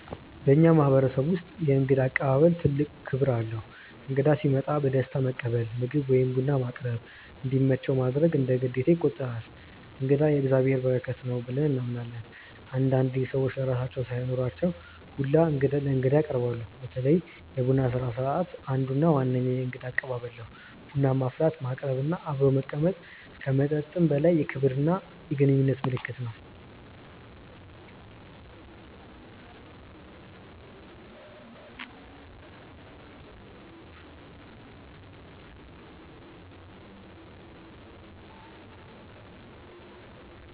በእኛ ማህበረሰቦች ውስጥ የእንግዳ አቀባበል ትልቅ ክብር አለው። እንግዳ ሲመጣ በደስታ መቀበል፣ ምግብ ወይም ቡና ማቅረብ፣ እንዲመቸው ማድረግ እንደ ግዴታ ይቆጠራል። “እንግዳ የእግዚአብሔር በረከት ነው” ብለን እናምናለን። አንዳንዴ ሰዎች ለራሳቸው ሳይኖራቸው ሁላ ለእንግዳ ያቀርባሉ። በተለይ የቡና ስነስርዓት አንዱ እና ዋነኛው የእንግዳ አቀባበል ነው። ቡና ማፍላት፣ ማቅረብ እና አብሮ መቀመጥ ከመጠጥም በላይ የክብርና የግንኙነት ምልክት ነው።